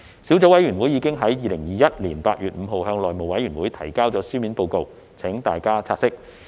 小組委員會已於2021年8月5日向內務委員會提交書面報告，請大家察悉。